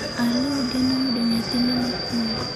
Aloo geno yudo nyathine mokwongo